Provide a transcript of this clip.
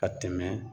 Ka tɛmɛ